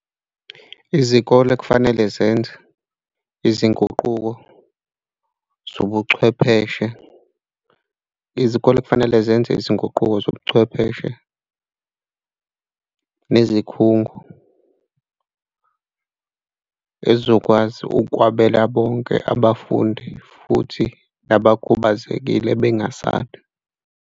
Izikole kufanele zenze izinguquko zobuchwepheshe. Izikole kufanele zenze izinguquko zobuchwepheshe nezikhungo ezizokwazi ukwabela bonke abafundi futhi nabakhubazekile bengasali.